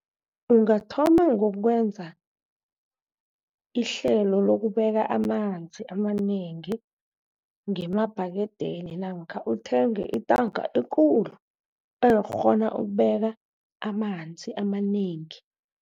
Ungathoma ngokwenza ihlelo lokubeka amanzi amanengi ngemabhakedeni, namkha uthenge intanka ekulu engakghona ukubeka amanzi amanengi.